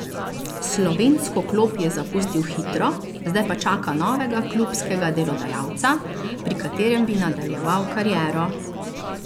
Slovensko klop je zapustil hitro, zdaj pa čaka novega klubskega delodajalca, pri katerem bi nadaljeval kariero.